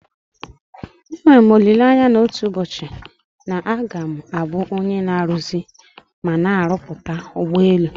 Enwere m olileanya na otu ụbọchị na a ga m abụ onye na-aruzi mana na-arụpụta ụgbọelu.